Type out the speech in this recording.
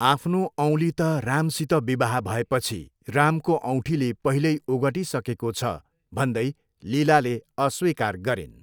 आफ्नो औँली त रामसित विवाह भएपछि रामको औँठीले पहिल्यै ओगटिसकेको छ, भन्दै लीलाले अस्वीकार गरिन्।